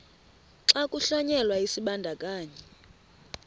xa kuhlonyelwa isibandakanyi